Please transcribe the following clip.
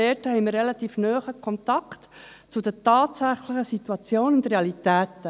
Wir haben relativ nahen Kontakt zur tatsächlichen Situation und zu den Realitäten.